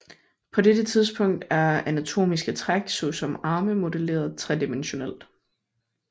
På dette tidspunkt er anatomiske træk såsom arme modelleret tredimensionelt